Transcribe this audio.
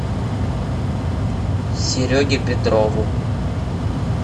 сереге петрову